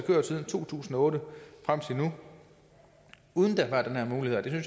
kørt siden to tusind og otte og frem til nu uden